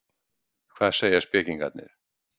Hvað segja spekingarnir?